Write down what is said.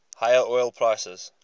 higher oil prices